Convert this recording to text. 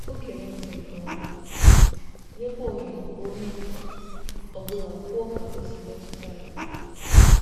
O gere ntị nke ọma, nyekwa ohere ka onye ọ bụla kwuo ka o si mmetụta ya.